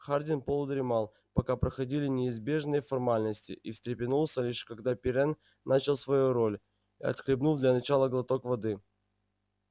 хардин полудремал пока проходили неизбежные формальности и встрепенулся лишь когда пиренн начал свою роль отхлебнув для начала глоток воды